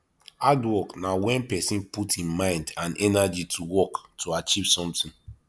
hard work na when persin put im mind and energy to work to achieve something